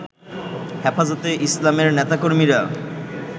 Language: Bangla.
হেফাজতে ইসলামের নেতাকর্মীরা